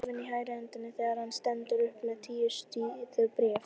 Hann er orðinn dofinn í hægri hendinni þegar hann stendur upp með tíu síðna bréf.